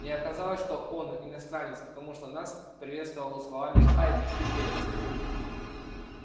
но оказалось что он иностранец потому нас приветствовал словами хай пипель